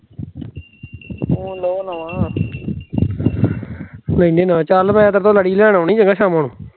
ਨਾਲ ਚਲ ਪੈ, ਤੇਰੇ ਤੋ ਲੜੀ ਲੈਣ ਆਉਣੀ ਐ,